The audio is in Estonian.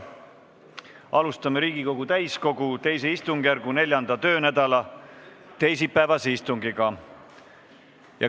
Alustame Riigikogu täiskogu II istungjärgu 4. töönädala teisipäevast istungit.